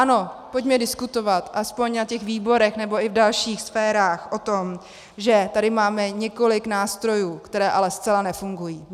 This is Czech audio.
Ano, pojďme diskutovat aspoň v těch výborech nebo i v dalších sférách o tom, že tady máme několik nástrojů, které ale zcela nefungují.